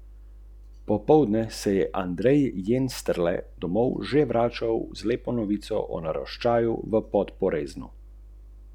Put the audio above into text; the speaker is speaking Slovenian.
S paketom Preprosto enostaven si zagotovite udobno in preprosto uporabo zemeljskega plina ter električne energije.